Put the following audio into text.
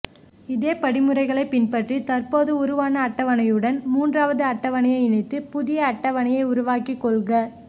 இதே படிமுறைகளை பின்பற்றி தற்போது உருவான அட்டவணையுடன் மூன்றாவது அட்டவணையை இணைத்து புதிய அட்டவணையை உருவாக்கி கொள்க